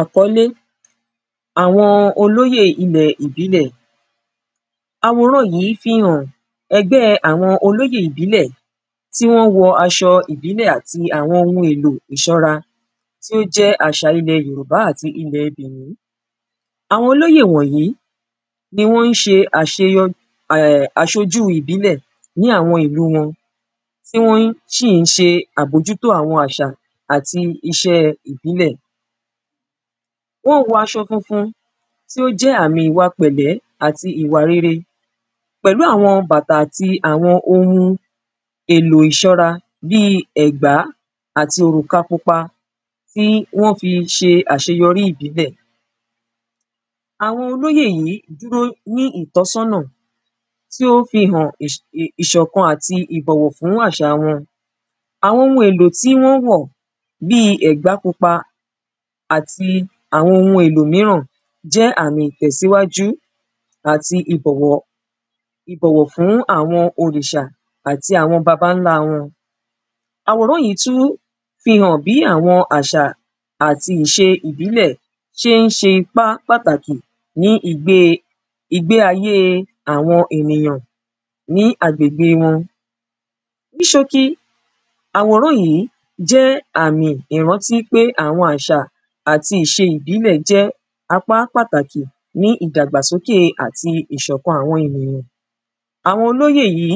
àkọ́lé àwọn olóyè àwọn ilẹ̀ ìbílẹ̀ àwòrán yí fihàn ẹgbẹ́ àwọn olóyè ìbílẹ̀ tí wọ́n wọ aṣọ ìbílẹ̀ àti àwọn ohun èlò ìṣọ́ra tí ó jẹ́ àṣà ilẹ̀ yorùbá àti ilẹ̀ bẹ̀nín àwọn olóyè wọ̀nyí ní wọ́n ṣe aṣojú ìbílẹ̀ ní àwọn ìlú wọn tí wọ́n sì ń ṣe àbójútó àwọn àṣà àti iṣẹ́ ìbílẹ̀ wọ́n wọ aṣọ funfun tí ó jẹ́ àmì ìwà pẹ̀lẹ́ àti ìwà rere pẹ̀lú àwọn bàtà àti àwọn ohun èlò ìṣọ́ra bíi ẹ̀gbá àti òròka pupa tí wọ́n fi ṣe àṣeyọrí ìbílẹ̀ àwọn olóyè yí dúró ní ìtọ́sọ́nà tí ó fihàn ìṣọ̀kan àti ìbọ̀wọ̀ fún àṣà wọn àwọn ohun èlò tí wọ́n wọ̀ bíi ẹ̀gbá pupa àti àwọn ohun èlò míràn jẹ́ àmì ìtẹ̀síwájú àti ìbọ̀wọ̀ fún àwọn òrìṣà àti àwọn babańlá wọn àwòrán yí tún fihàn bí àwọn àṣà àti ìṣe ìbílẹ̀ ṣe ń ṣe ipá pàtàkì ní ìgbé ayé àwọn ènìyàn ní agbègbè wọn ní ṣókí àwòrán yí jẹ́ àmì ìrántí pé àwọn àṣà àti ìṣe ìbílẹ̀ jẹ́ apá pàtàkì ní ìdàgbàsókè àti ìṣọ̀kan àwọn ènìyàn àwọn olóyè yí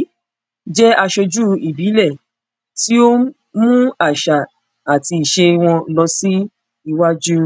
jẹ́ aṣojú ìbílẹ̀ tí ó mú àṣà àti ìṣe wọn lọ sí iwájú.